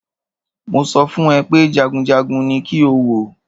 Mo sọ fún ẹ pé jagunjagun ní kí o wò!